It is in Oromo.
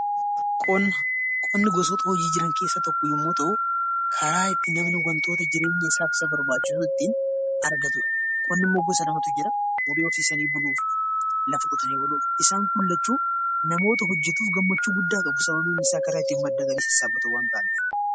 Qonni gosoota hojii jiran keessaa tokko yommuu ta'u, karaa itti namni wantoota jireenyasaaf isa barbaachisu ittiin argatudha. Qonnimmoo gosa lamatu jira: horii horsiisanii buluu fi lafa qotanii buluu. Isaan kun lachuu namoota hojjetuuf gammachuu guddaa qabu. Sababiin isaa karaa itti madda galii sassaabbatan waan ta'aniif.